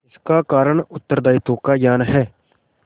इसका कारण उत्तरदायित्व का ज्ञान है